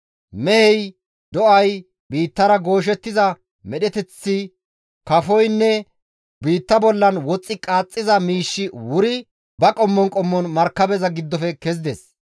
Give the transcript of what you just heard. Mehey, do7ay, biittara gooshettiza medheteththi, kafoynne biitta bollan woxxi qaaxxiza miishshi wuri ba qommon qommon markabeza giddofe kezides.